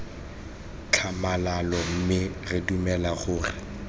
tlhamalalo mme re dumela gore